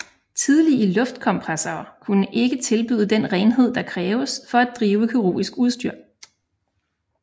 Tidlige luftkompressorer kunne ikke tilbyde den renhed der kræves for at drive kirurgisk udstyr